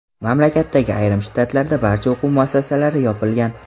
Mamlakatdagi ayrim shtatlarda barcha o‘quv muassasalari yopilgan.